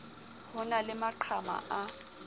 ho na le maqhama a